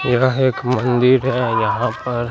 यह एक मंडी है यहां पर--